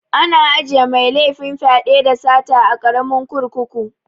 Ana ajiye mai laifin fyaɗe, da sata a karamin kurkuku